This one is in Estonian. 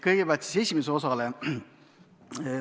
Kõigepealt siis esimese osa kohta.